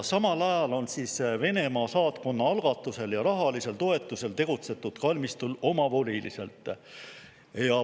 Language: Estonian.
Samal ajal on Venemaa saatkonna algatusel ja rahalisel toetusel tegutsetud kalmistul omavoliliselt.